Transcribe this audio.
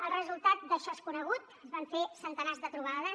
el resultat d’això és conegut es van fer centenars de trobades